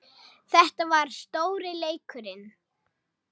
Þetta var stóri leikurinn